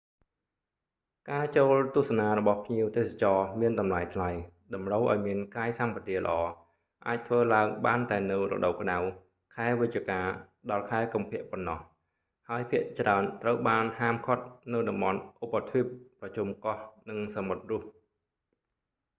ការចូលទស្សនារបស់ភ្លៀវទេសចរមានតម្លៃថ្លៃ តម្រូវឲ្យមានកាយសម្បទាល្អ អាចធ្វើឡើងបានតែនៅរដូវក្តៅ ខែវិច្ឆិកា-ខែកុម្ភៈប៉ុណ្ណោះ ហើយភាគច្រើន ត្រូវបានហាមឃាត់នៅតំបន់ឧបទ្វីប ប្រជុំកោះ និងសមុទ្ររុស្ស